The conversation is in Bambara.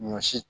Ɲɔ si